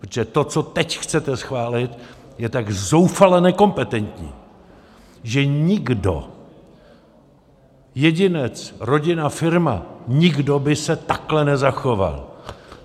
Protože to, co teď chcete schválit, je tak zoufale nekompetentní, že nikdo, jedinec, rodina, firma, nikdo by se takhle nezachoval!